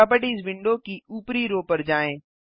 properties window की ऊपरी row पर जाएँ